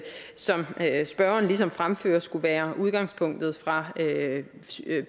som spørgeren ligesom fremfører skulle være udgangspunktet fra